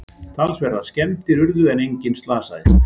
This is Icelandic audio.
Talsverðar skemmdir urðu en enginn slasaðist